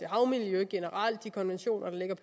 og havmiljøet generelt de konventioner der